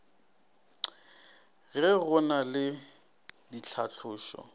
ge go na le ditlhatlošo